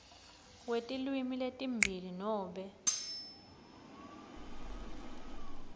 kwetilwimi letimbili nobe